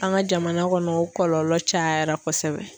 An ka jamana kɔnɔ o kɔlɔlɔ cayara kosɛbɛ